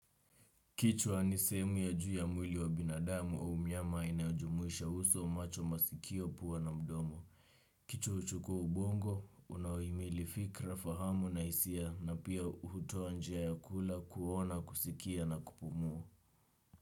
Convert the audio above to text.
Kichwa ni sehemu ya juu ya mwili wa binadamu au mnyama inayojumuisha uso macho masikio pua na mdomo. Kichwa huchukua ubongo unaohimili fikira fahamu na hisia na pia hutoa njia ya kula kuona kusikia na kupumua.